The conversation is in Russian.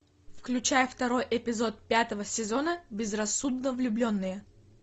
включай второй эпизод пятого сезона безрассудно влюбленные